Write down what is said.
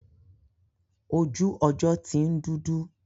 Ojú ọjọ́ ti ń dúdú.